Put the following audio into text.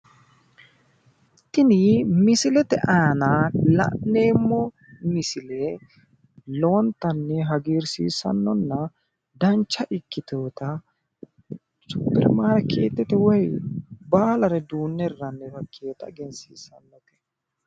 Tini misilete aana la'neemo misile lowontanni hagirsiisannonna dancha ikkitewota superimarkeetete woyi baalare duunne hirranniwa ikkinota egensiisanno